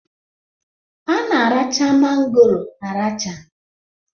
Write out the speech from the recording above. A na-aracha mangoro aracha